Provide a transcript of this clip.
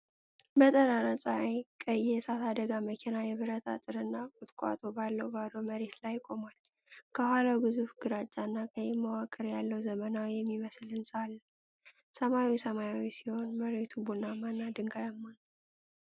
በጠራራ ፀሐይ ቀይ የእሳት አደጋ መኪና የብርት አጥር እና ቁጥቋጦ ባለው ባዶ መሬት ላይ ቆሟል። ከኋላው ግዙፍ ግራጫ እና ቀይ መዋቅር ያለው ዘመናዊ የሚመስል ህንፃ አለ። ሰማዩ ሰማያዊ ሲሆን መሬቱ ቡናማ እና ድንጋያማ ነው።